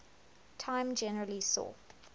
time generally saw